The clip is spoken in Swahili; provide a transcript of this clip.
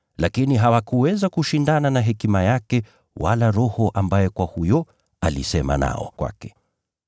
Lakini hawakuweza kushindana na hekima yake wala huyo Roho ambaye alisema kwake.